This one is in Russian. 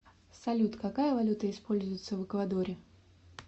салют какая валюта используется в эквадоре